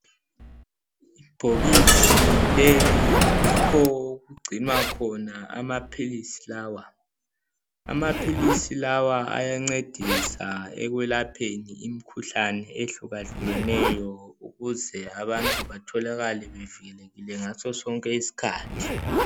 Ibhokisi leli yikho okugcinwa khona amaphilisi lawa. Amaphilisi lawa ayancedisa ekwelapheni imikhuhlane ehlukahlukeneyo ukuze abantu batholakale bevikelekile ngaso sonke isikhathi.